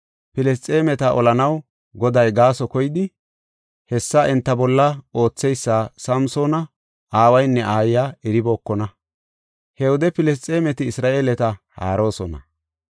Filisxeemeta olanaw Goday gaaso koyidi, hessa enta bolla ootheysa Samsoona aawaynne aayiya eribookona. He wode Filisxeemeti Isra7eeleta haaroosona.